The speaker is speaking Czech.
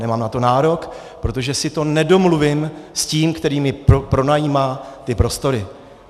Nemám na to nárok, protože si to nedomluvím s tím, který mi pronajímá ty prostory.